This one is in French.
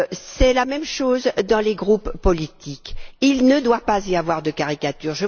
C'est la même chose dans les groupes politiques il ne doit pas y avoir de caricature.